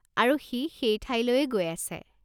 আৰু সি সেই ঠাইলৈয়েই গৈ আছে।